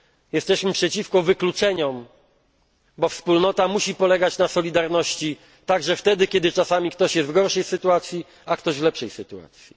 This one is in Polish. Jesteśmy przeciwko wykluczeniom, bo Wspólnota musi polegać na solidarności także wtedy, kiedy czasami ktoś jest w gorszej, a ktoś inny w lepszej sytuacji.